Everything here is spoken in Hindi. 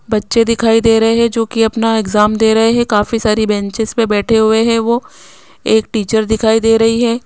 बच्चे दिखाई दे रहे हैं जो कि अपना एग्जाम दे रहे हैं काफी सारी बेंचेज पर बैठे हुए हैं वो एक टीचर दिखाई दे रही है।